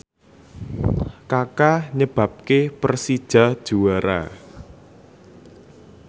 Kaka nyebabke Persija juara